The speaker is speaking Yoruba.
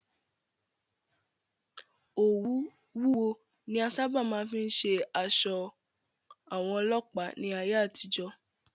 Òwú wúwo ni a sáábà máa fí ń ṣe aṣọ àwọn Ọlọ́pàá ní ayé àtijọ́.